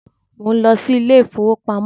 Mo ń lọ sí ilé ìfowópamọ́